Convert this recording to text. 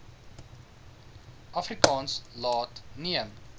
afrikaans laat neem